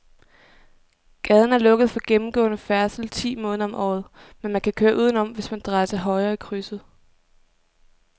Gaden er lukket for gennemgående færdsel ti måneder om året, men man kan køre udenom, hvis man drejer til højre i krydset.